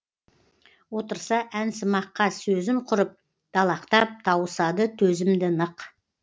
отырса әнсымаққа сөзім құрып далақтап тауысады төзімді нық